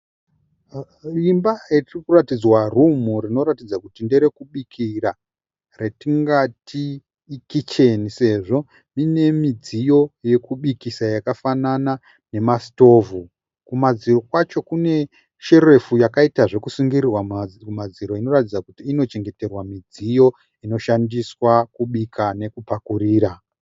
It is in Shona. Imba yetirikuratidzwa rumu rinoratidza kuti nderekubikira retingati ikicheni sezvo ine midziyo yekubikisa yakafanana nemasitovhu kumadziro kwacho kune sherefu yakaita zvekusungirirwa mumadziro inoratidza kuti inochengeterwa midziyo inoshandiswa kubika nekupakurira.